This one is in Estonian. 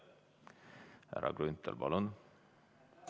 Härra Grünthal, palun!